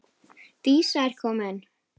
Dísa er komin!